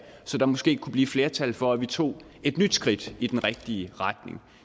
så der måske kunne blive et flertal for at vi tog et nyt skridt i den rigtige retning